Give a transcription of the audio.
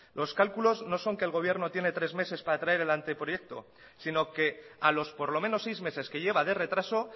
los cálculos no son que el gobierno tiene tres meses para traer el anteproyecto sino que a los por lo menos seis meses que lleva de retraso